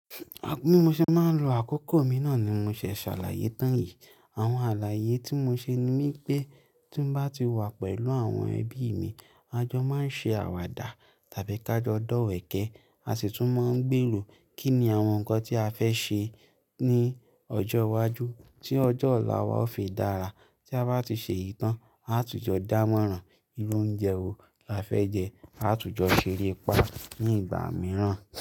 Bí mo ṣe máa lo àkókò mí náà ni mo ṣe ṣàlàyé tán yìí. Àwọn àlàyé tí mo ṣe ni pé tí mo bá ti wà pẹ̀lú àwọn ẹbí mi, àjọ máa ṣe àwàdà tàbí ká jọ dọ́wẹ̀kẹ́. A sì tún máa ń gbèrò kí ni àwọn nǹkan tí a fẹ́ ṣe ní ọjọ́ iwájú, tí ọjọ́ ọ̀la wa ó fi dára. Tí a bá ti ṣe yìí tán, a tùjọ́ dámọ̀rán. Irú oúnjẹ wo lá fẹ́ jẹ. A tùjọ́ ṣeré pá ní ìgbà mìíràn.